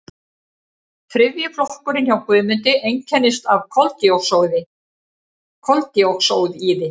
þriðji flokkurinn hjá guðmundi einkennist af koldíoxíði